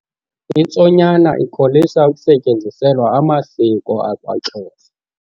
Intsonyama ikholisa ukusetyenziselwa amasiko akwaXhosa.